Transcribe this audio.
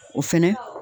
O fɛnɛ